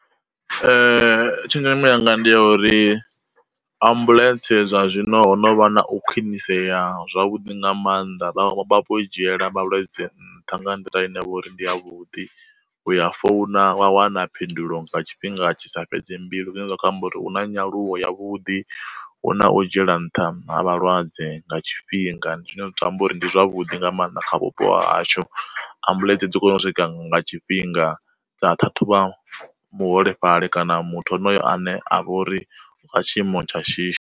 Tshenzhemo yanga ndi ya uri, ambuḽentse zwa zwino no vha na u khwinisea zwavhuḓi nga maanḓa i dzhiela malwadze nṱha nga nḓila ine vha uri ndi a vhuḓi, u ya founa wa wana phindulo nga tshifhinga tshi sa fhedze mbilu zwine zwa kho amba uri hu na nyaluwo ya vhuḓi hu na u dzhiela nṱha ha vhalwadze nga tshifhinga, ndi zwine zwa tamba uri ndi zwa a vhuḓi nga maanḓa kha vhupo ha hashu ambuḽentse dzi kone u swika nga tshifhinga dza ṱhaṱhuvha muholefhali kana muthu honoyo ane a vha uri u kha tshiimo tsha shishi.